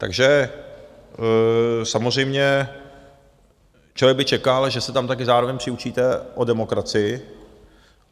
Takže samozřejmě člověk by čekal, že se tam také zároveň přiučíte o demokracii.